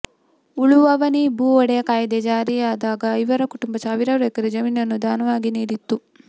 ಉಳುವವನೇ ಭೂ ಒಡೆಯ ಕಾಯ್ದೆ ಜಾರಿಯಾದಾಗ ಇವರ ಕುಟುಂಬ ಸಾವಿರಾರು ಎಕರೆ ಜಮೀನನ್ನು ದಾನವಾಗಿ ನೀಡಿತ್ತು